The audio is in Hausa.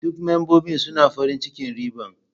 Duk membobin suna farin cikin riban.